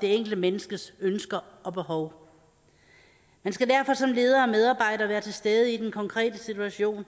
det enkelte menneskes ønsker og behov man skal derfor som leder og medarbejder være til stede i den konkrete situation